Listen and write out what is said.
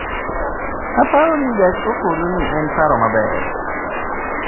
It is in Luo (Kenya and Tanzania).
"""Aparo ni gach okolo ni en paro maber."""